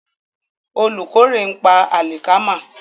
Olùkórè ń pa àlìkámà.